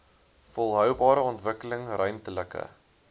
volhoubare ontwikkeling ruimtelike